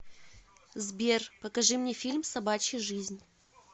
сбер покажи мне фильм собачья жизнь